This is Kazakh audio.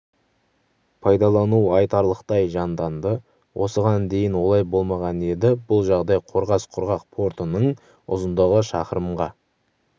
пайдалану айтарлықтай жанданды осыған дейін олай болмаған еді бұл жағдай қорғас құрғақ портының ұзындығы шақырымға